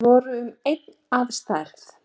Þeir voru um einn að stærð